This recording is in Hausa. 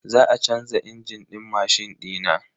Za a canza injin din mashin dina.